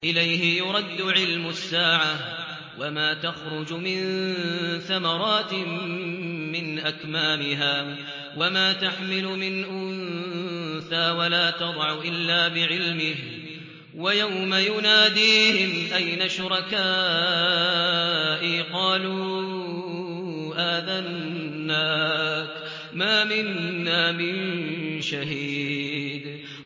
۞ إِلَيْهِ يُرَدُّ عِلْمُ السَّاعَةِ ۚ وَمَا تَخْرُجُ مِن ثَمَرَاتٍ مِّنْ أَكْمَامِهَا وَمَا تَحْمِلُ مِنْ أُنثَىٰ وَلَا تَضَعُ إِلَّا بِعِلْمِهِ ۚ وَيَوْمَ يُنَادِيهِمْ أَيْنَ شُرَكَائِي قَالُوا آذَنَّاكَ مَا مِنَّا مِن شَهِيدٍ